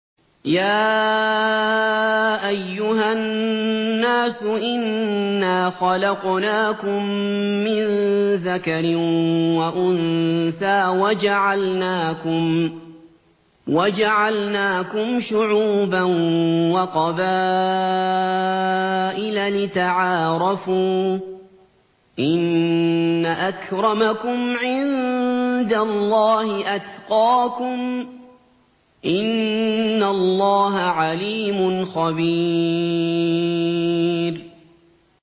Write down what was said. يَا أَيُّهَا النَّاسُ إِنَّا خَلَقْنَاكُم مِّن ذَكَرٍ وَأُنثَىٰ وَجَعَلْنَاكُمْ شُعُوبًا وَقَبَائِلَ لِتَعَارَفُوا ۚ إِنَّ أَكْرَمَكُمْ عِندَ اللَّهِ أَتْقَاكُمْ ۚ إِنَّ اللَّهَ عَلِيمٌ خَبِيرٌ